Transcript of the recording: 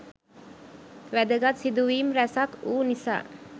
වැදගත් සිදුවීම් රැසක් වූ නිසා